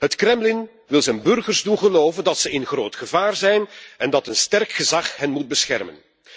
Het Kremlin wil zijn burgers doen geloven dat ze in groot gevaar zijn en dat een sterk gezag hen moet beschermen.